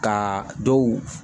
Ka dɔw